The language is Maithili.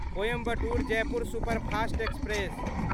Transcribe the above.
Coimbatore Jaipur superfast express